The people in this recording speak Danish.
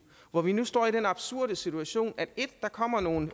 hvor vi nu står i den absurde situation at der kommer nogle